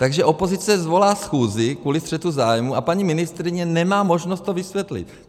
Takže opozice svolá schůzi kvůli střetu zájmů a paní ministryně nemá možnost to vysvětlit.